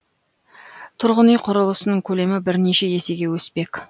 тұрғын үй құрылысының көлемі бірнеше есеге өспек